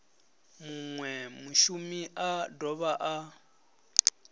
munwe mushumi a dovha a